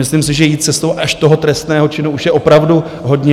Myslím si, že jít cestou až toho trestného činu už je opravdu hodně.